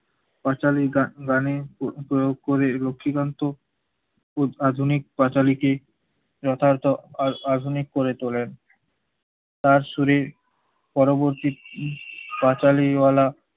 পাঁচালী গান গানে প্ৰ~ প্রয়োগ করে লক্ষীকান্ত উদ~ উদ~ আধুনিক পাঁচালীকে যথার্থ আধ~ আধুনিক করে তোলেন তার শরীর পরবর্তী~ পাঁচালীওয়ালা